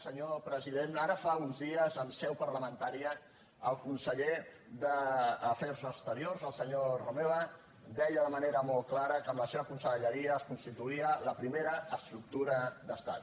senyor president ara fa uns dies en seu parlamentària el conseller d’afers exteriors el senyor romeva deia de manera molt clara que amb la seva conselleria es constituïa la primera estructura d’estat